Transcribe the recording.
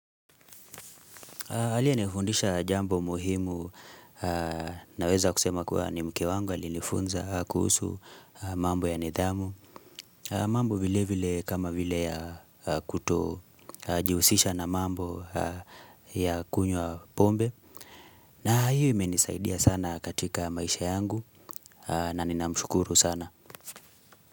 Aliye nifundisha jambo muhimu naweza kusema kuwa ni mke wangu alifunza kuhusu mambo ya nidhamu. Mambo vile vile kama vile ya kuto jihusisha na mambo ya kunywa pombe. Na hiyo imenisaidia sana katika maisha yangu na nina mshukuru sana.